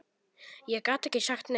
Ég gat ekki sagt nei.